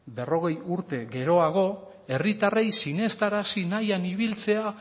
berrogei urte geroago herritarrei sinestarazi nahian ibiltzea